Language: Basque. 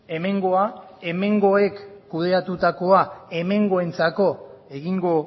hemengoa hemengoek kudeatutakoa hemengoentzako egingo